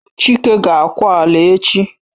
Chike ga akwa ala echi!